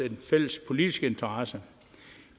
en fælles politisk interesse